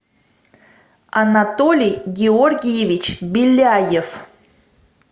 анатолий георгиевич беляев